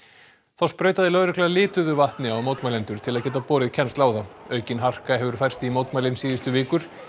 þá sprautaði lögregla lituðu vatni á mótmælendur til að geta borið kennsl á þá aukin harka hefur færst í mótmælin síðustu vikur